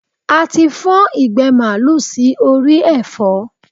A ti fọ́n ìgbẹ́ màlúù sí orí ẹ̀fọ́.